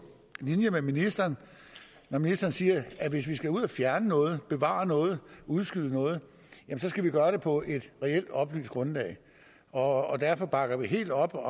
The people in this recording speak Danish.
linje med ministeren når ministeren siger at hvis vi skal ud og fjerne noget bevare noget udskyde noget skal vi gøre det på et reelt oplyst grundlag og derfor bakker vi helt op